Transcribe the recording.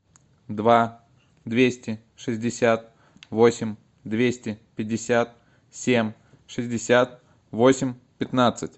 два двести шестьдесят восемь двести пятьдесят семь шестьдесят восемь пятнадцать